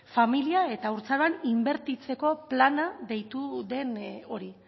familia eta haurtzaroan inbertitzeko plana deitu den hori